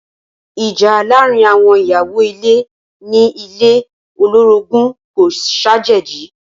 Ìjà láàárín àwọn ìyàwó ilé ní ilé olorogun kò ṣàjèjì.